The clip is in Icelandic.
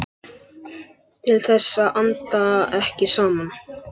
Til þess að anda ekki saman.